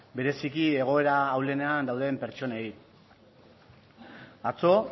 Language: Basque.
bereziki egoera ahulenean dauden pertsonei atzo